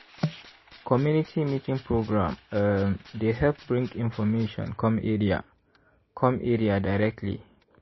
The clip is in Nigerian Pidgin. community meeting program um dey help bring information come area come area directly.